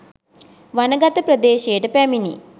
වනගත ප්‍රදේශයට පැමිණි